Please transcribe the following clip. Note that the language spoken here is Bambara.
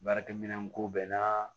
Baarakɛminɛn ko bɛɛ na